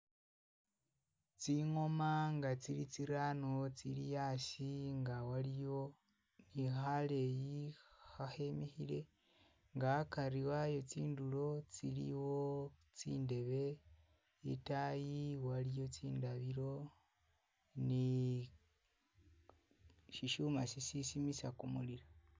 Tsingoma nga tsili tsirano, tsili asi nga waliyo ni khaleyi, khakhemikhile nga akari wayo tsindulo tsiliwo tsindebe, itaayi waliyo tsindabilo ni sishuma si sisimisa kumulilo.